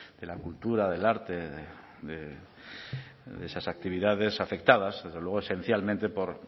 de la cultura del arte de esas actividades afectadas desde luego esencialmente por